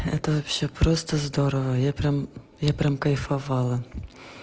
это всё просто здорово я прям я прям кайфовала